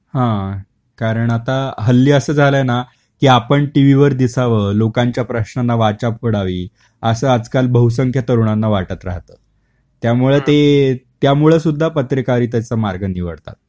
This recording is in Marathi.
हां, कारण आता हल्ली अस झाल आहेना की आपण टीव्ही वर दिसाव, लोकांच्या प्रश्नांना वाचा फोडावी, अस आजकाल बहुसंख्य तरुणांना वाटत राहत. त्यामुळे ते त्यामुळे सुद्धा पत्रकारितेच मार्ग निवडतात.